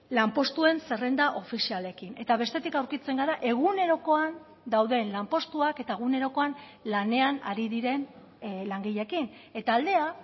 lanpostuen zerrenda ofizialekin eta bestetik aurkitzen gara egunerokoan dauden lanpostuak eta egunerokoan lanean ari diren langileekin eta aldea